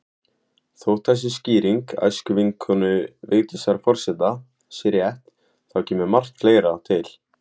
Þótt þessi skýring æskuvinkonu Vigdísar forseta sé rétt, þá kemur margt fleira til.